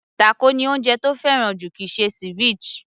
Tákò ni oúnjẹ tó fẹ́ràn jù kìí ṣe ceviche